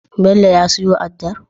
Bello ya siyo addar